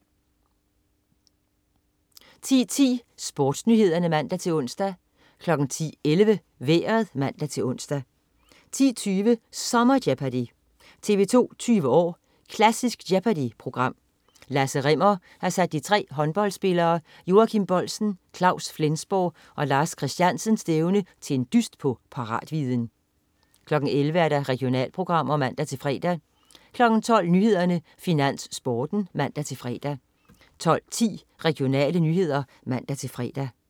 10.10 SportsNyhederne (man-ons) 10.11 Vejret (man-ons) 10.20 Sommer-Jeopardy! TV 2 20 år: Klassisk Jeopardy!-program. Lasse Rimmer har sat de tre håndboldspillere Joachim Boldsen, Claus Flensborg og Lars Christiansen stævne til en dyst på paratviden 11.00 Regionalprogrammer (man-fre) 12.00 Nyhederne, Finans, Sporten (man-fre) 12.10 Regionale nyheder (man-fre)